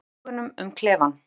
Þú rennir augunum um klefann.